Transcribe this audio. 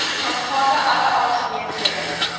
aangaande alle aangeleenthede